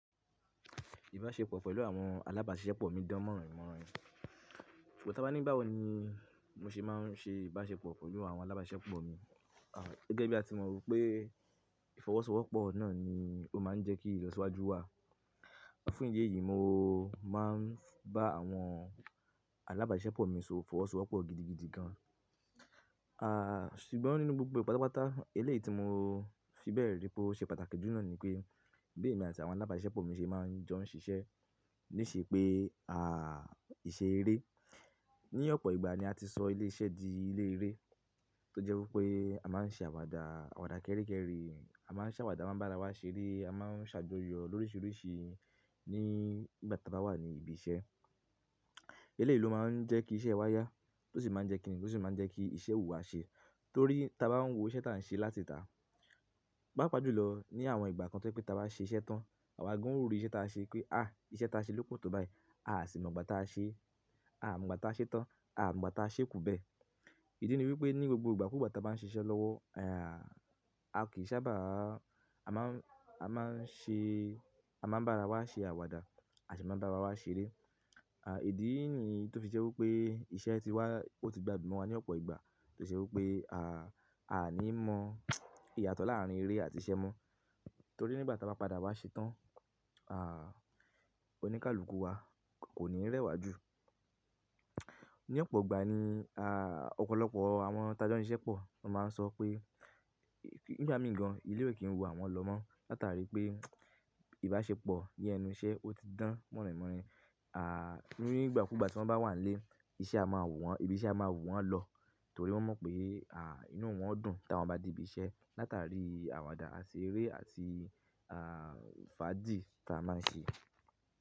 Ìbáṣepọ̀ pẹ̀lú àwọn alábàásiṣepọ̀ mi dán mọ́ron i mọ́ron i. Ṣùgbọ́n tí a bá ní báwo ni mo ṣe máa ń ṣe ìbáṣepọ̀ pẹ̀lú àwọn alábàáṣepọ̀ mi. Gẹgẹ́ bí a ti mọ̀ wípé ìfọwọ́sowọ́pọ̀ náà ni ó máa ń jẹ́ kí ìlọsíwájú wà. Fún ìdí èyí, mo máa ń bá àwọn alábàásiṣepọ̀ mi so ìfọwọ́sowọ́pọ̀ gidigidi gan. Ṣùgbọ́n nínú gbogbo e pátápátá eléyìí tí mo fi bẹ̀ẹ̀ rí pé ó ṣe pàtàkì jù náà ni pé, bí èmi àti àwọn alábàásiṣepọ̀ mi ṣe máa ń jọ ń ṣiṣẹ́ níṣe pé, ìṣe eré. Ní ọ̀pọ̀ ìgbà ni a ti sọ ilé iṣẹ́ di ilé eré tó jẹ́ wípé a máa ń ṣe àwàdà, àwàdà kéri kéri, a máa ń ṣàwàdà, a máa ń bá ara wa ṣeré, a máa ń ṣàjọyọ̀ lóríṣiríṣi ní ìgbà tí a bá wà ní ibi iṣẹ́. Eléyìí ló máa ń jẹ́ kí iṣẹ́ wa yá tó sì máa ń jẹ́ kí ni tó sì máa ń jẹ́ kí iṣẹ́ ò wù wa ṣe. Torí ta bá ń wo iṣẹ́ tí à ń ṣe láti tàá, pápa jù lọ ní àwọn ìgbà kan tó pé tí a bá ṣe iṣẹ́ tán, àwa gan ún ó rí iṣẹ́ tí a ṣe pé, à, iṣẹ́ tí a ṣe ló pò tó báyìí, a à sì mọ̀ gbà ta ṣe, a à mọ̀ gbà tí a ṣe tán, a à mọ̀ gbà ta ṣe kù bẹ́ẹ̀. Ìdí ni wípé ní gbogbo ìgbà kú gbà ta bá ń ṣe iṣẹ́ lọ́wọ́. A kì í sábà, a má ń, a má ń ṣe, a má ń bá ara wa ṣe àwàdà, a sì máa ń bá ara wa ṣeré. Ìdí nìí tó fi ṣe wípé iṣẹ́ ti wá ó ti gba dún mo wa ní ọ̀pọ̀ ìgbà tó ṣe wípé, a à ní mọ ìyàtọ̀ láàárín eré àti iṣẹ́ mọ́. Torí nígbà ta bá padà wá ṣe tán, oníkálukú wa kò ní rẹwà jù. Ní ọ̀pọ̀ ìgbà ni, ọ̀pọ̀lọpọ̀ àwọn tajọ́ ń siṣẹ́ pọ̀ ló máa ń sọ pé, nígba mi gan, ilé ó kì í wù àwọn lọ mọ́ látàrí pé ìbáṣepọ̀ ní ẹnu iṣẹ́ ó ti dán mọ́rinmọ́rin. Ni ígbà kú gbà tí wọ́n bá wà ń ílé, iṣẹ́ a máa wù wọ́n, ibi iṣẹ́ a máa wù wọ́n lọ torí wọ́n mọ̀ pé, inú wọn ó dùn ta wọ́n bá de ibi iṣẹ́ látàrí àwàdà àti eré àti, fàájì ta máa ń ṣe.